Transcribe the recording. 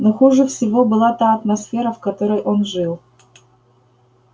но хуже всего была та атмосфера в которой он жил